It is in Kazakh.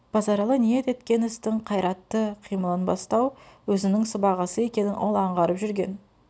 базаралы ниет еткен істің қайратты қимыл ын бастау өзінің сыбағасы екенін ол анғарып жүрген